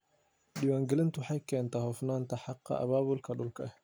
Diiwaangelintu waxay keentaa hufnaan xagga abaabulka dhulka ah.